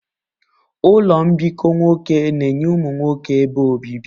Ụlọ mbikọ nwoke na-enye ụmụ nwoke ebe obibi.